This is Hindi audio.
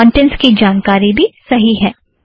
कौंटेंट्स की जानकारी भी सही है